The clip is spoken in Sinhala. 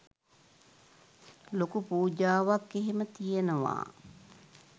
ලොකු පූජාවක් එහෙම තියනවා